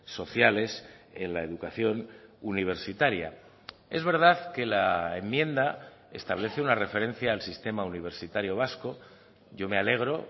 sociales en la educación universitaria es verdad que la enmienda establece una referencia al sistema universitario vasco yo me alegro